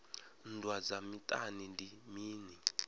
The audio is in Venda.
nndwa dza miṱani ndi mini